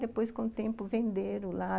Depois, com o tempo, venderam lá.